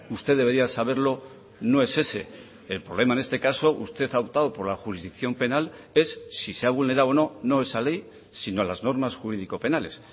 usted debería saberlo no es ese el problema en este caso usted ha optado por la jurisdicción penal es si se ha vulnerado o no no esa ley sino las normas jurídico penales